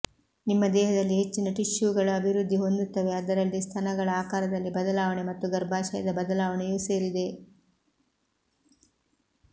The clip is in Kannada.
ನಿಮ್ಮ ದೇಹದಲ್ಲಿ ಹೆಚ್ಚಿನ ಟಿಶ್ಯೂಗಳು ಅಭಿವೃದ್ಧಿ ಹೊಂದುತ್ತವೆ ಅದರಲ್ಲಿ ಸ್ತನಗಳ ಆಕಾರದಲ್ಲಿ ಬದಲಾವಣೆ ಮತ್ತು ಗರ್ಭಾಶಯದ ಬದಲಾವಣೆಯೂ ಸೇರಿದೆ